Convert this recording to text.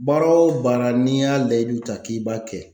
Baara o baara n'i y'a layidu ta k'i b'a kɛ.